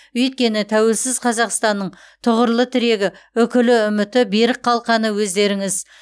өйткені тәуелсіз қазақстанның тұғырлы тірегі үкілі үміті берік қалқаны өздеріңіз